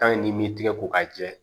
n'i m'i tigɛ ko k'a jɛ